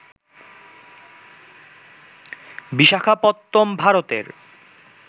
বিশাখাপত্নম ভারতের